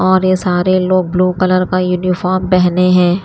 और ये सारे लोग ब्लू कलर का यूनिफॉर्म पहने हैं।